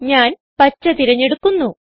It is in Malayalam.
ഞാൻ പച്ച തിരഞ്ഞെടുക്കുന്നു